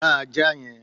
gba ajá yẹn!